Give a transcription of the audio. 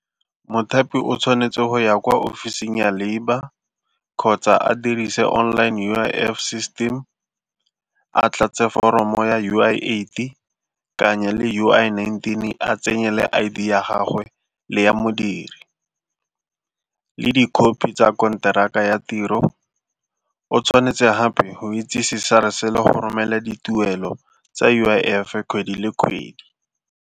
Mothapi o tshwanetse go ya kwa ofising ya labour kgotsa a dirise online U_I_F system a tlatse foromo ya U_I aid-e kanye le U_I nineteen a tsenye le I_D ya gagwe le ya modiri le dikhopi tsa konteraka ya tiro, o tshwanetse gape go itsise SARS-e le go romela dituelo tsa U_I_F-e kgwedi le kgwedi.